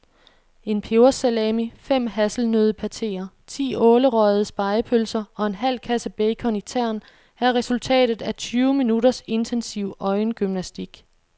En pebersalami, fem hasselnøddepateer, ti ålerøgede spegepølser og en halv kasse bacon i tern er resultatet af tyve minutters intensiv øjengymnastik.